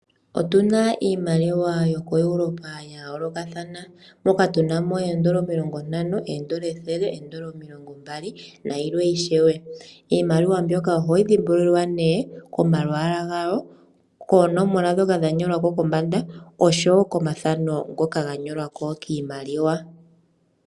Otuna iimaliwa yoko Europa yayoolokathana moka tunamo eendola omilongontano, eendola ethele, eendola omilongombali, nayilwe ishewe. Iimaliwa mbyoka ohayi dhimbululwa nee komalwaala gawo, koonomola dhoka dhanyolwako kombanda, osho wo komathano ngoka ganyolwako kiimaliwa.